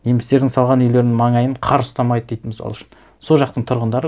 немістердің салған үйлерінің маңайын қар ұстамайды дейді мысал үшін сол жақтың тұрғындары